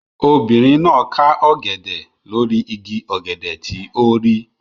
Obìnrin náà ká ọ̀gẹ̀dẹ̀ lórí igi ọ̀gẹ̀dẹ̀ tí ó rí.